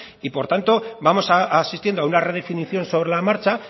y por tanto vamos asistiendo a una redefinición sobre la marcha